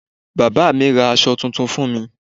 Bàbá mi ra aṣọ tuntun fún mi.